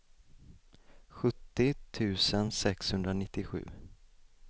sjuttio tusen sexhundranittiosju